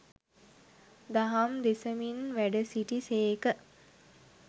දහම් දෙසමින් වැඩ සිටි සේක.